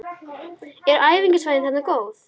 Eru æfingasvæðin þarna góð?